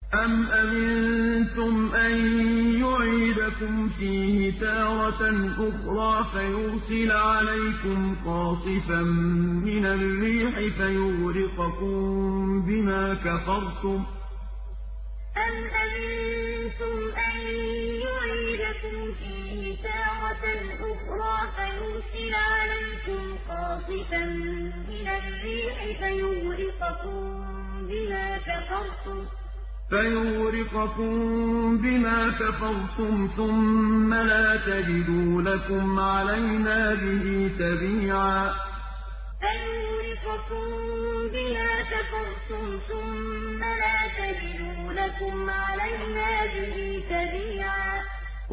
أَمْ أَمِنتُمْ أَن يُعِيدَكُمْ فِيهِ تَارَةً أُخْرَىٰ فَيُرْسِلَ عَلَيْكُمْ قَاصِفًا مِّنَ الرِّيحِ فَيُغْرِقَكُم بِمَا كَفَرْتُمْ ۙ ثُمَّ لَا تَجِدُوا لَكُمْ عَلَيْنَا بِهِ تَبِيعًا أَمْ أَمِنتُمْ أَن يُعِيدَكُمْ فِيهِ تَارَةً أُخْرَىٰ فَيُرْسِلَ عَلَيْكُمْ قَاصِفًا مِّنَ الرِّيحِ فَيُغْرِقَكُم بِمَا كَفَرْتُمْ ۙ ثُمَّ لَا تَجِدُوا لَكُمْ عَلَيْنَا بِهِ تَبِيعًا